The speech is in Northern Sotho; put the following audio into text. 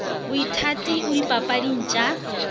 boithabi o dipapading t a